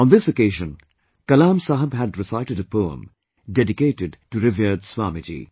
On this occasion Kalam Saheb had recited a poem dedicated to revered Swamiji